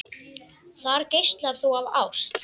Þar geislar þú af ást.